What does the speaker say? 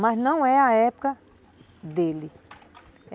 Mas não é a época dele.